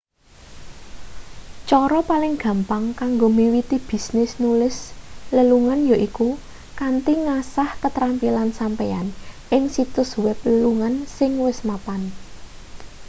cara paling gampang kanggo miwiti bisnis nulis lelungan yaiku kanthi ngasah ketrampilan sampeyan ing situs web lelungan sing wis mapan